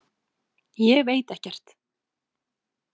Ég veit ekkert.